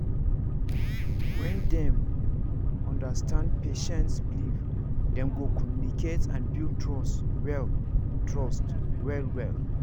when dem understand patient's believe dem go communicate and build trust well trust well well